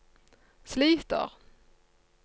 sliter